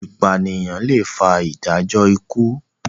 ipaniyan lẹ fà ìdájọ ikú.